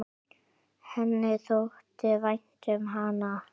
Henni þótti vænt um hana.